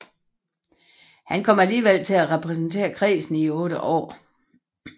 Han kom alligevel til at repræsentere kredsen i otte år